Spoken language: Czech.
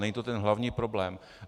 Není to ten hlavní problém.